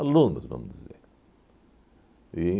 vamos dizer.